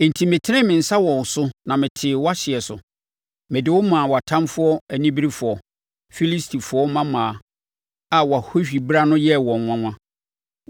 Enti metenee me nsa wɔ wo so na metee wʼahyeɛ so. Mede wo maa wʼatamfoɔ aniberefoɔ, Filistifoɔ mmammaa a wʼahohwi bra no yɛɛ wɔn nwanwa.